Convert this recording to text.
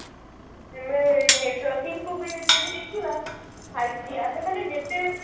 ଆମେ networking କୁ ଯଦି ଦେଖିବା five ଆମେ ଖାଲି ଯେତେ